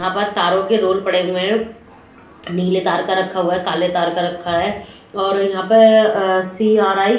यहाँ पर तारो के रोल पड़े हुए है नीले तार का रखा है काले तार का रखा है और यहाँ पे अ सी_आर_आई --